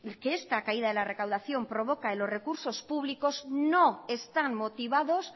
que esta caída de la recaudación provoca en los recursos públicos no están motivados